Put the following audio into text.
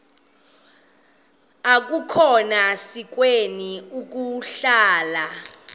akukhona sikweni ukuhlala